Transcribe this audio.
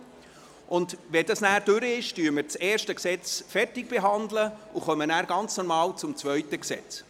Wenn dies erledigt ist, beraten wir das erste Gesetz zu Ende und kommen dann ganz normal zum zweiten Gesetz.